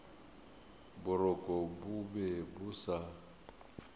boroko bo be bo sa